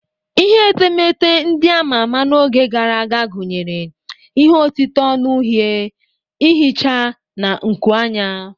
Ihe etemeete ndị ama ama n'oge gara aga gụnyere ihe otite onu uhie, ihicha, na nkuanya.